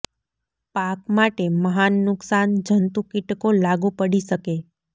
પાક માટે મહાન નુકસાન જંતુ કિટકો લાગુ પડી શકે